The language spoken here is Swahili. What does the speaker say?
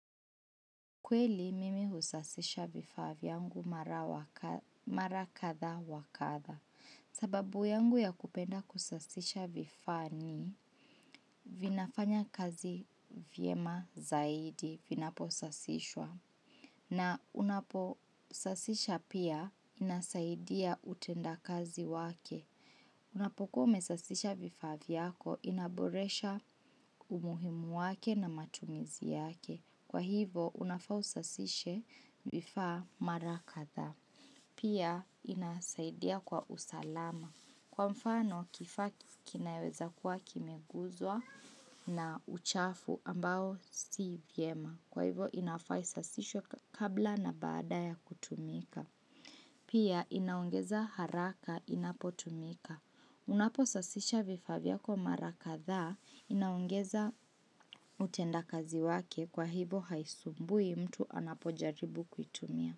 Kweli mimi husasisha vifaa vyangu mara kadhaa wa kadha. Sababu yangu ya kupenda kusasisha vifaa ni, vinafanya kazi vyema zaidi, vinapo sasishwa. Na unapo sasisha pia, inasaidia utenda kazi wake. Unapoku umesasisha vifaa vyako, inaboresha umuhimu wake na matumizi yake. Kwa hivo, unafaa usasishe vifaa mara kadhaa. Pia, inasaidia kwa usalama. Kwa mfano, kifaa kikinaweza kuwa kimeguzwa na uchafu ambao si vyema. Kwa hivo, inafaa isasishwe kabla na badaa ya kutumika. Pia, inaongeza haraka inapo tumika. Unapo sasisha vifaa vyako mara kadhaa inaongeza utenda kazi wake kwa hivo haisumbui mtu anapojaribu kuitumia.